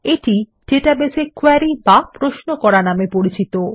এটি ডাটাবেস এ কোয়েরী বা প্রশ্ন করা নামে পরিচিত